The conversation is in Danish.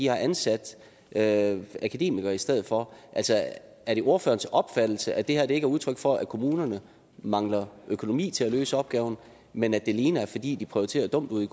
har ansat akademikere i stedet for er det ordførerens opfattelse at det her ikke er udtryk for at kommunerne mangler økonomi til at løse opgaven men at det alene er fordi de prioriterer dumt ude